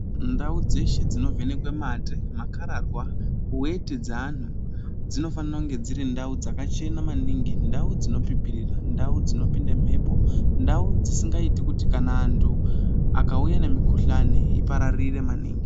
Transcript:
Ndau dzeshe dzinovhenekwe mate, makararwa, weti dzeantu, dzinofanire kunge dzirindau dzakachena maningi, ndau dzinopipirira, ndau dzinopinda mhepo, ndau dzisingaiti kuti kana antu akauya nemikuhlane ipararire maningi.